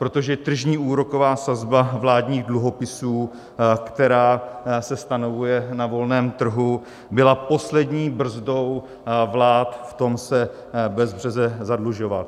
Protože tržní úroková sazba vládních dluhopisů, která se stanovuje na volném trhu, byla poslední brzdou vlád v tom, se bezbřeze zadlužovat.